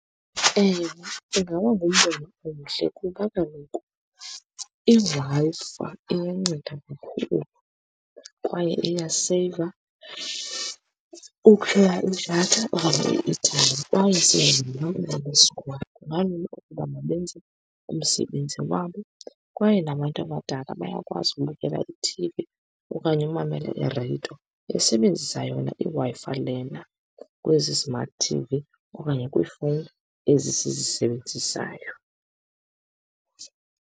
Ewe, ingaba ngumbono omhle kuba kaloku iWi-Fi iyanceda kakhulu kwaye iyaseyiva ukuthenga idatha okanye i-eyithayimi, kwaye siyazibona besikolo, kungalula ukuba mabenze umsebenzi wabo. Kwaye nabantu abadala bayakwazi ukubukela ithivi okanye umamele irediyo besebenzisa yona iWi-Fi lena, kwezi smart T_V okanye kwiifowuni ezi sizisebenzisayo.